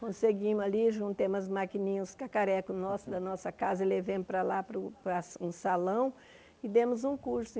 Conseguimos ali, juntemos as maquininhas, os cacarecos nosso da nossa casa e levamos para lá, para o para um salão, e demos um curso.